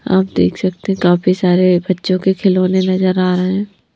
आप देख सकते हैं काफी सारे बच्चों के खिलौने नजर आ रहे हैं।